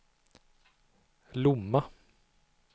Lomma